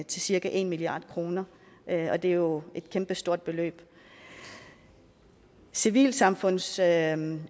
til cirka en milliard kr og det er jo et kæmpestort beløb civilsamfundsuddannelser